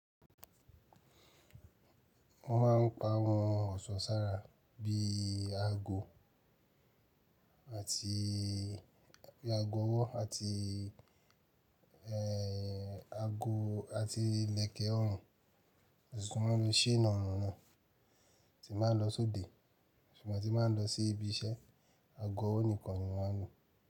Wọ́n máa ń pa àwọn ọ̀sọ́ sára bí i ago àtì, bí i ago ọwọ́ àti ẹ, ago àti ìlẹ̀kẹ̀ ọrùn, ṣùgbọ́n ló chain ọrùn náà tí n báa ń lọ sóde ṣùgbọ́n tí máa ń lọ sí ibi iṣẹ́, ago ọwọ́ nìkan ni wọ́n á lo.